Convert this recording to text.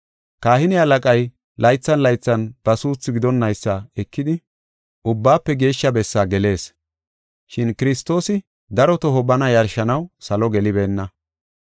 Kahine halaqay laythan laythan ba suuthi gidonnaysa ekidi, Ubbaafe Geeshsha Bessa gelees. Shin Kiristoosi daro toho bana yarshanaw salo gelibeenna.